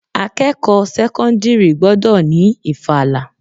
Akẹ́kọ̀ọ́ sẹ́kọ́ńdírì gbọ́dọ̀ ni ìfala.